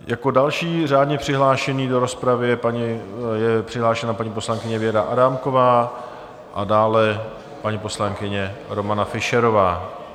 Jako další řádně přihlášená do rozpravy je přihlášena paní poslankyně Věra Adámková a dále paní poslankyně Romana Fischerová.